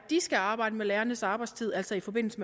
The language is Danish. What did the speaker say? skal arbejde med lærernes arbejdstid altså i forbindelse